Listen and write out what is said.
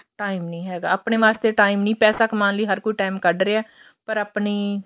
time ਨਹੀਂ ਹੈਗਾ ਆਪਣੇ ਵਾਸਤੇ time ਨੀ ਪੈਸਾ ਕਮਾਉਣ ਲਈ ਹਰ ਕੋਈ time ਕੱਢ ਰਿਹਾ ਪਰ ਆਪਣੀ